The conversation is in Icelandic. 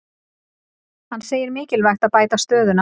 Hann segir mikilvægt að bæta aðstöðuna